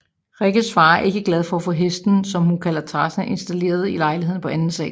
Rikkes far er ikke glad for at få hesten som hun kalder Tarzan installeret i lejligheden på anden sal